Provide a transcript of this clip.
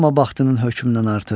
Arama vaxtının hökmündən artıq.